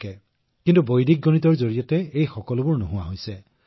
সেয়েহে বৈদিক গণিতৰ সৈতে এই সকলোবোৰ আঁতৰ হৈ পৰে